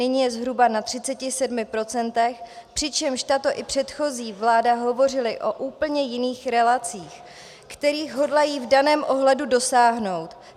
Nyní je zhruba na 37 %, přičemž tato i předchozí vláda hovořily o úplně jiných relacích, kterých hodlají v daném ohledu dosáhnout.